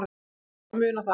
Allir að muna það.